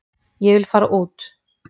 Ég vil fara út.